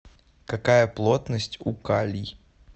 какая плотность у калий